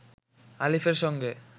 আলিফের সঙ্গে